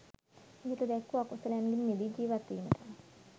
ඉහත දැක්වූ අකුසලයන්ගෙන් මිදී ජීවත්වීමට